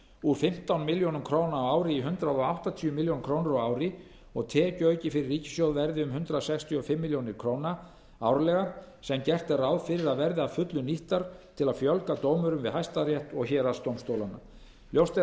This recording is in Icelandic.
úr fimmtán milljónir króna á ári í hundrað áttatíu milljónir króna á ári og að tekjuauki fyrir ríkissjóð verði um hundrað sextíu og fimm milljónir króna árlega sem gert er ráð fyrir að verði að fullu nýttar til að fjölga dómurum við hæstarétt og héraðsdómstólana ljóst